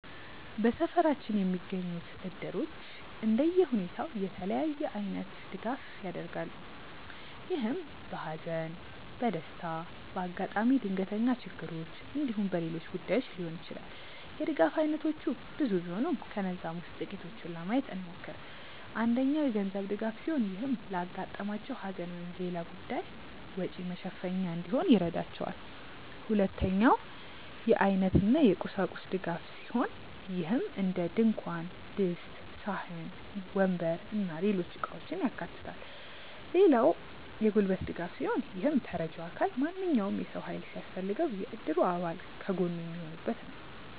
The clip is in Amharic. በሰፈራችን የሚገኙት እድሮች እንደየሁኔታው የተለያየ አይነት ድጋፍ ያደርጋሉ። ይህም በሃዘን፣ በደስታ፣ በአጋጣሚ ድንገተኛ ችግሮች እንዲሁም በሌሎች ጉዳዮች ሊሆን ይችላል። የድጋፍ አይነቶቹ ብዙ ሲሆኑ ከነዛም ውስጥ ጥቂቱን ለማየት እንሞክር። አንደኛው የገንዘብ ድጋፍ ሲሆን ይህም ለአጋጠማቸው ሃዘን ወይም ሌላ ጉዳይ ወጪ መሸፈኛ እንዲሆን ይረዳቸዋል። ሁለተኛው የአይነት እና የቁሳቁስ ድጋፍ ሲሆን ይህም እንደድንኳን ድስት፣ ሳህን፣ ወንበር እና ሌሎች እቃውችን ያካታል። ሌላው የጉልበት ድጋፍ ሲሆን ይህም ተረጂው አካል ማንኛውም የሰው ሃይል ሲያስፈልገው የእድሩ አባል ከጎኑ የሚሆኑበት ነው።